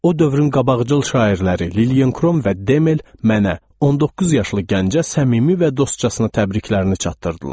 O dövrün qabaqcıl şairləri Lilyen Krom və Demel mənə 19 yaşlı gəncə səmimi və dostcasına təbriklərini çatdırdılar.